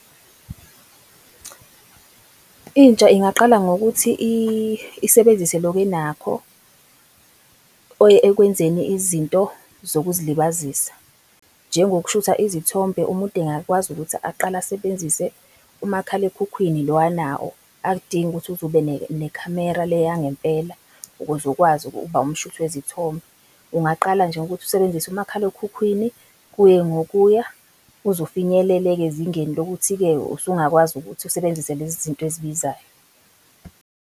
Intsha ingaqala ngokuthi isebenzise loko enakho, ekwenzeni izinto zokuzilibazisa, njengokuthatha izithombe, umuntu engakwazi ukuthi aqale asebenzise umakhalekhukhwini lo anawo, akudingi ukuthi uze ube nekhamera le yangempela ukuze ukwazi ukuba umshuthi kwezithombe. Ungaqala nje ngokuthi usebenzise umakhalekhukhwini, kuye ngokuya uze ufinyelele-ke ezingeni lokuthi-ke usungakwazi ukuthi usebenzise lezi zinto ezibizayo.